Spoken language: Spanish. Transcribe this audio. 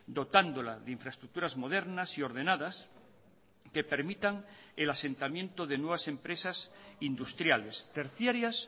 dotándola de infraestructuras modernas y ordenadas que permitan el asentamiento de nuevas empresas industriales terciarias